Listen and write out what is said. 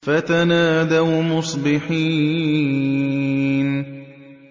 فَتَنَادَوْا مُصْبِحِينَ